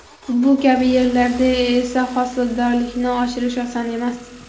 Bu kabi yerlarda esa hosildorlikni oshirish oson emas.